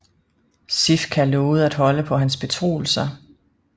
Sifka lovede at holde på hans betroelser